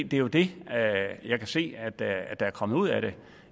det er jo det jeg kan se at der er kommet ud af det